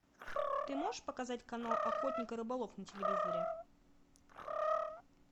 ты можешь показать канал охотник и рыболов на телевизоре